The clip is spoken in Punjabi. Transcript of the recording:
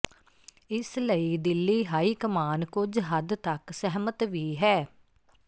ਇਸ ਲਈ ਦਿੱਲੀ ਹਾਈਕਮਾਨ ਕੁਝ ਹੱਦ ਤੱਕ ਸਹਿਮਤ ਵੀ ਹੈ